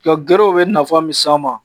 Ka gerew bɛ nafa min s'an ma